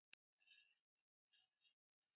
Veistu hverjir við erum?